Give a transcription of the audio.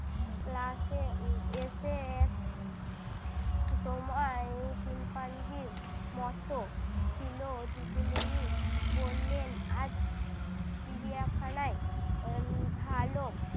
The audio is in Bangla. class এ উহ এসে সময় শিম্পাঞ্জির মতো ছিল। দিদিমনি বললেন, আজ চিড়িয়াখানায় আহ ভালো